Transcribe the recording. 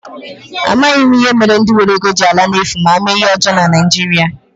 Amaghị m ihe mere ndi nwere ego ji ala n'efu ma ha mee ihe ọjọọ na Naijiria.